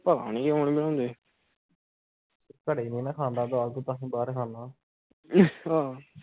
ਆ ਨਹੀਂ ਕਿਉਂ ਨਹੀਂ ਬਣਾਉਂਦੇ ਘਰੇ ਨਹੀਂ ਨਾ ਖਾਂਦਾ ਦਾਲ ਕੋਈ ਬਸ ਬਾਹਰ ਖਾਣਾ